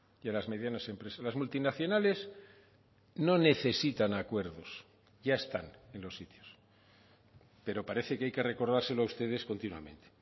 y a las medianas empresas las multinacionales no necesitan acuerdos ya están en los sitios pero parece que hay que recordárselo a ustedes continuamente